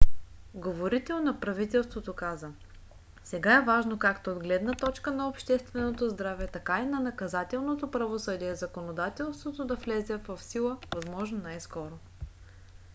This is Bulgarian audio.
"говорител на правителството каза: сега е важно както от гледна точка на общественото здраве така и на наказателното правосъдие законодателството да влезе в сила възможно най-скоро